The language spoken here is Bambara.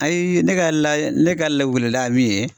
Ayi ne ka la ne ka lawulila ye min ye